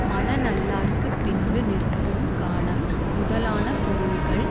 மன நல்லார்க்கு பின்பு நிற்கும் காணம் முதலான பொருள்கள்